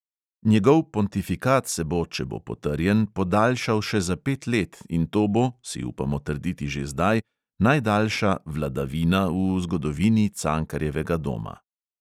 Njegov pontifikat se bo, če bo potrjen, podaljšal še za pet let in to bo, si upamo trditi že zdaj, najdaljša "vladavina" v zgodovini cankarjevega doma.